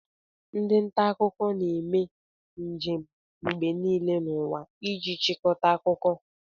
Ndị nta akụkọ na-eme njem mgbe niile n'ụwa iji chịkọta akụkọ